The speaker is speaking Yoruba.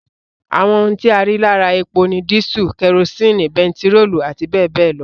Àwọn ohun tí a rí lára epo ni dísù, kerosini, bentiróòlù àti bẹẹbẹẹ lọ